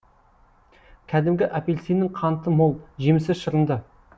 кәдімгі апельсиннің қанты мол жемісі шырынды